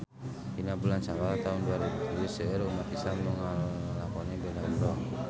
Dina bulan Sawal taun dua rebu tujuh seueur umat islam nu ngalakonan ibadah umrah